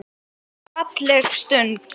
Við sjáumst seinna mín kæra.